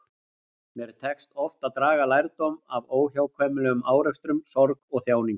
Mér tekst oft að draga lærdóm af óhjákvæmilegum árekstrum, sorg og þjáningu.